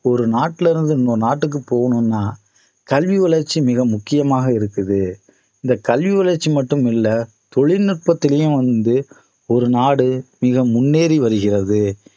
ஒரு நாட்டில இருந்து இன்னொரு நாட்டுக்கு போகணும்னா கல்வி வளர்ச்சி மிக முக்கியமாக இருக்குது இந்த கல்வி வளர்ச்சி மட்டுமில்ல தொழில்நுட்பத்திலயும் வந்து ஒரு நாடு மிக முன்னேறி வருகிறது